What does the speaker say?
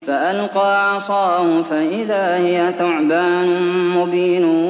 فَأَلْقَىٰ عَصَاهُ فَإِذَا هِيَ ثُعْبَانٌ مُّبِينٌ